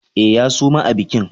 E, ya suma a bikin.